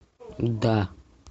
да